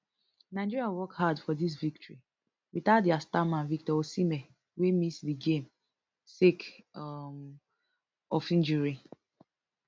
nigeria work hard for dis victory without dia star man victor osimhen wey miss di game sake um of injury